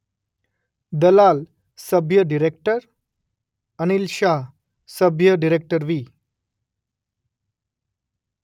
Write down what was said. દલાલ સભ્ય ડિરેક્ટર અનિલ શાહ સભ્ય ડિરેક્ટરવી.